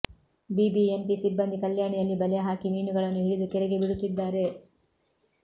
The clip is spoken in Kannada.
ಬಿಬಿಎಂಪಿ ಸಿಬ್ಬಂದಿ ಕಲ್ಯಾಣಿಯಲ್ಲಿ ಬಲೆ ಹಾಕಿ ಮೀನುಗಳನ್ನು ಹಿಡಿದು ಕೆರೆಗೆ ಬಿಡುತ್ತಿದ್ದಾರೆ